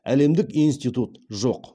әлемдік институт жоқ